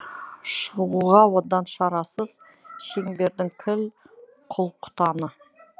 шығуға одан шарасыз шеңбердің кіл құл құтаны